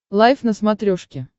лайф на смотрешке